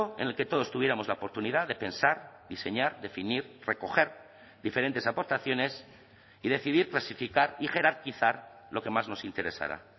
en el que todos tuviéramos la oportunidad de pensar diseñar definir recoger diferentes aportaciones y decidir clasificar y jerarquizar lo que más nos interesara